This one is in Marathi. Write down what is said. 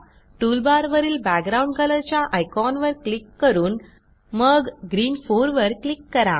टूलबारवरील बॅकग्राउंड कलर च्या आयकॉनवर क्लिक करून मग ग्रीन 4 वर क्लिक करा